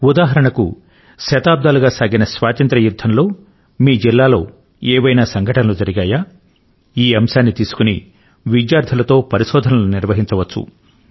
ఉదాహరణ కు శతాబ్దాలుగా సాగిన స్వాతంత్ర్య యుద్ధం లో మీ జిల్లాలో ఏవైనా సంఘటనలు జరిగాయా ఈ అంశాన్ని తీసుకొని విద్యార్థుల తో పరిశోధనలు నిర్వహించవచ్చు